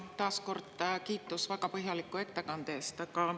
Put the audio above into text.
Ja taas kord kiitus väga põhjaliku ettekande eest!